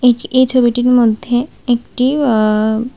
এই ছবিটির মধ্যে একটি আ--